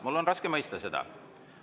Mul on raske seda mõista.